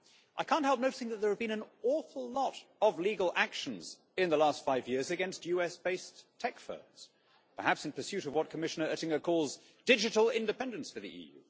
I can't help noticing that there have been an awful lot of legal actions in the last five years against US based tech firms, perhaps in pursuit of what Commissioner Oettinger calls digital independence' for the EU.